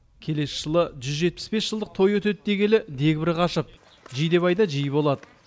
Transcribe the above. келесі жылы жүз жетпіс бес жылдық той өтеді дегелі дегбірі қашып жидебайда жиі болады